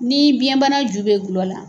Ni biyɛnbana ju bɛ gulɔ la